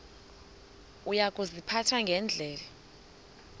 uya kuziphatha ngendlela